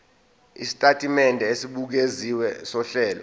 isitatimende esibukeziwe sohlelo